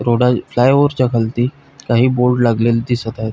Road फ्लाय ओवरच्या खालती काही बोर्ड लागलेले दिसत आहेत.